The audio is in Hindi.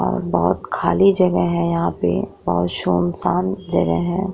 और बहुत खाली जगह है यहाँ पे बहोत सुनसान जगह है।